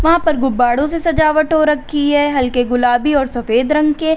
यहां पर गुब्बारों से सजावट हो रखी है हल्के गुलाबी और सफेद रंग के।